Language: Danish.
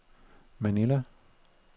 Manila